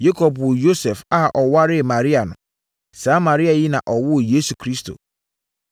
Yakob woo Yosef a ɔwaree Maria no. Saa Maria yi na ɔwoo Yesu Kristo.